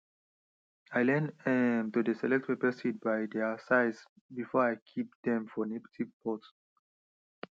i learn um to dey select pepper seeds by their size before i keep dem for native pots